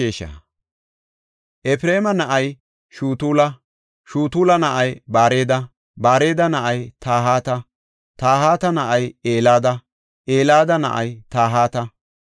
Efreema na7ay Shutula; Shutula na7ay Bareda; Bareda na7ay Tahata; Tahata na7ay Elada; Elada na7ay Tahata;